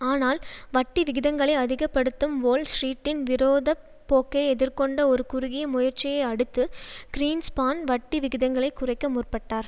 ஆனால் வட்டி விகிதங்களை அதிக படுத்தும் வோல் ஸ்ரீட்டின் விரோத போக்கை எதிர்கொண்ட ஒரு குறுகிய முயற்சியை அடுத்து கிரீன்ஸ்பான் வட்டி விகிதங்களை குறைக்க முற்பட்டார்